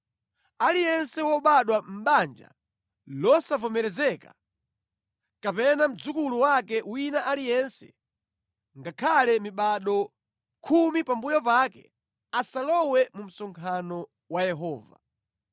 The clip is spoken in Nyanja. Aliyense wobadwa mʼbanja losavomerezeka, kapena mdzukulu wake wina aliyense, ngakhale mibado khumi pambuyo pake, asalowe mu msonkhano wa Yehova.